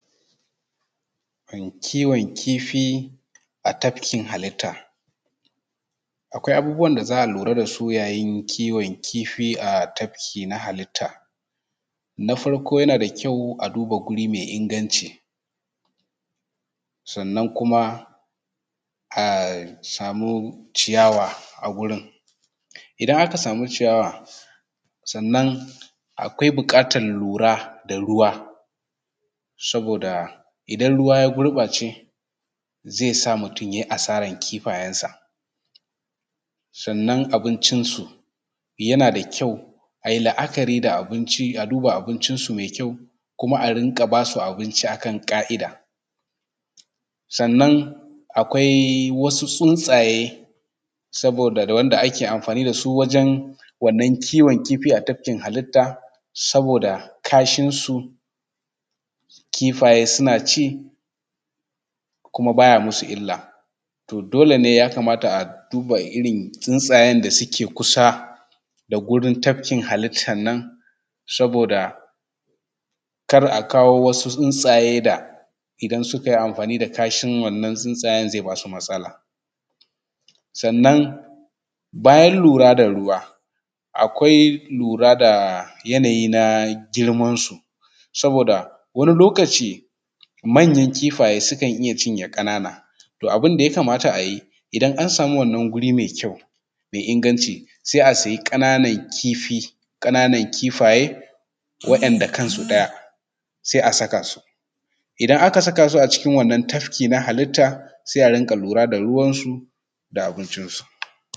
Kiwon kifi a tafkin halitta. Akwai abubuwan da za a lura da su yayin kiwon kifi a tafki na halitta. Na farko yana da kyau a duba wuri mai inganci, sannan kuma a samu ciyawa a gurin. Idan aka samu ciyawa, sannan akwai buƙatar lura da ruwa saboda idan ruwa ya gurɓace zai sa mutum ya yi asaran kifayensa. Sannan abincinsu, yana da kyau a yi la’akari da abinci, a duba abincinsu mai kyau, kuma a rinƙa ba su abinci akan ƙa’ida. Sannan akwai wasu tsuntsaye saboda da wanda ake amfani da su wajen wannan kiwon kifi a tafkin halitta, saboda kashin su kifaye suna ci kuma baya musu illa. To dole ne ya kamata a duba irin tsuntsayen da suke kusa da gurin tafkin halittan nan saboda kar a kawo wasu tsuntsaye da idan suka idan suka yi amfani kashin wannan tsuntsayen zai ba su matsala. Sannan bayan lura da ruwa, akwai lura da yanayi na girmansu, saboda wani lokaci manyan kifaye sukan iya cinye ƙanana, to abin da ya kamata a yi, idan an samu guri mai kyau mai inganci, sai a siya ƙananan kifi, ƙananan kifaye wa’inda kansu ɗaya sai a saka su. Idan aka saka su acikin wannan tafki na halitta, sai a dinga lura da ruwansu da abincinsu.